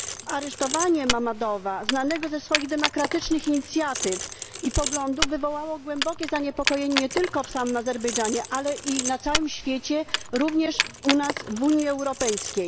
Aresztowanie Mammadowa, znanego ze swoich demokratycznych inicjatyw i poglądów, wywołało głębokie zaniepokojenie nie tylko w samym Azerbejdżanie, ale i na całym świecie, również u nas, w Unii Europejskiej.